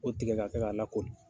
O tigɛ' ka kɛ' a la kori.